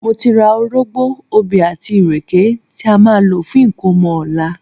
Mo ti ra orógbó, obì àti ìrèké tí a máa lò fún ìkómọ ọ̀la